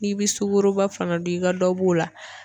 N'i bi sukoro fana don i ka dɔ b'o la